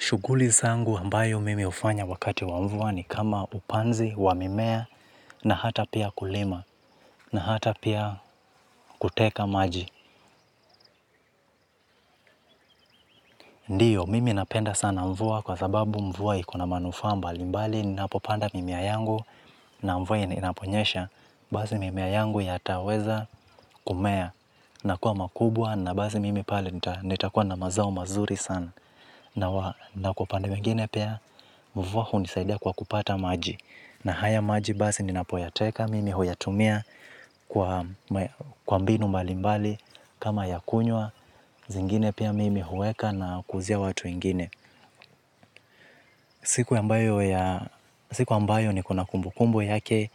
Shughuli zangu ambayo mimi hufanya wakati wa mvua ni kama upanzi wa mimea na hata pia ukulima na hata pia kuteka maji. Ndio, mimi napenda sana mvua kwa sababu mvua iko na manufaa mbalimbali ninapopanda mimea yangu na mvua inaponyesha. Basi mimea yangu yataweza kumea na kuwa makubwa na basi mimi pale nitakuwa na mazao mazuri sana. Na kwa upande mwingine pia mvua hunisaidia kwa kupata maji. Na haya maji basi ninapoyateka mimi huyatumia kwa mbinu mbalimbali kama ya kunywa, zingine pia mimi huweka na kuuzia watu wengine. Siku ambayo niko na kumbukumbu yake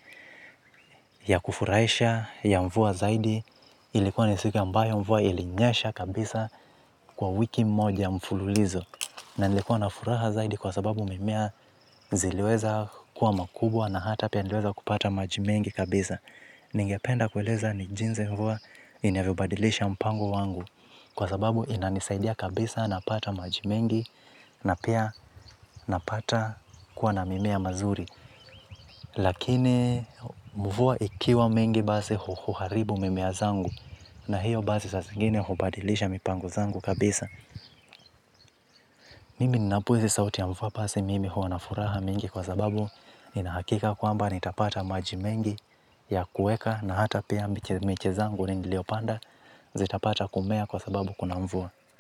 ya kufurahisha ya mvua zaidi ilikuwa ni siku ambayo mvua ilinyesha kabisa kwa wiki mmoja mfululizo. Na nilikuwa na furaha zaidi kwa sababu mimea ziliweza kuwa makubwa na hata pia nileweza kupata maji mengi kabisa. Ningependa kueleza ni jinsi mvua inavyobadilisha mpango wangu. Kwa sababu inanisaidia kabisa, napata maji mengi na pia napata kuwa na mimea mazuri. Lakini mvua ikiwa mingi basi huharibu mimea zangu. Na hiyo basi saa zingine hubadilisha mipango zangu kabisa. Mimi ninapohisi sauti ya mvua basi mimi huwa na furaha mingi kwa sababu nina hakika kwamba nitapata maji mengi ya kuweka na hata pia miche zangu niliopanda zitapata kumea kwa sababu kuna mvua.